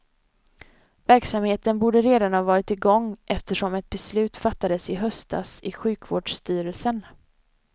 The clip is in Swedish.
Verksamheten borde redan ha varit igång, eftersom ett beslut fattades i höstas i sjukvårdsstyrelsen.